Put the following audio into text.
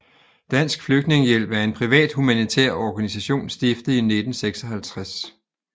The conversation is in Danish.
Dansk Flygtningehjælp er en privat humanitær organisation stiftet i 1956